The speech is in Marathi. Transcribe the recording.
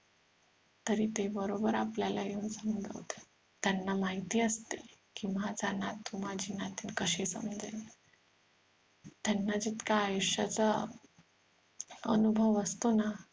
तरी ते बरोबर आपल्याला येऊन समजावता त्यांना माहिती असत कि माझा नातू माझी नातिण कशी समजेल त्यांना जितका आयुष्याचा अनुभव असतो ना